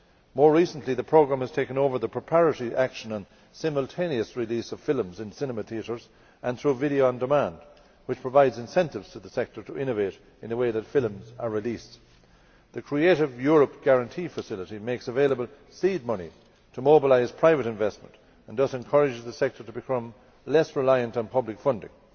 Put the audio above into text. More recently the programme has taken over the preparatory action on the simultaneous release of films in cinema theatres and through video on demand, which provides incentives to the sector to innovate in the way that films are released. The Creative Europe guarantee facility makes available seed money to mobilise private investment and thus encourages the sector to become less reliant on public funding.